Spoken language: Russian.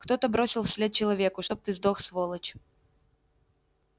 кто-то бросил вслед человеку чтоб ты сдох сволочь